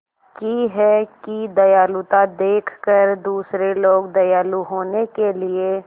की है कि दयालुता देखकर दूसरे लोग दयालु होने के लिए